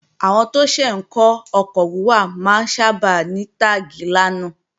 Àwọn tó ṣẹ̀ ń kọ́ ọkọ̀ wíwà máa ń sábà ní táàgi 'lánà'